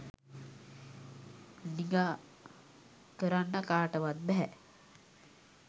නිගා කරන්න කාටවත් බැහැ.